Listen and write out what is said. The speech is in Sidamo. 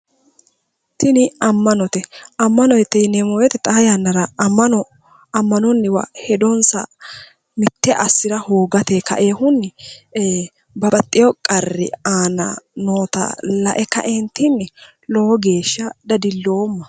Tini ammanote ammanote yineemmo woyite xa yannara ammano ammanonniwa hedonsa mitte assira hoogateyi ka'ewohunni ee babbaxxewo qarri aana noota la'e ka'eentinni lowo geesha dadilloomma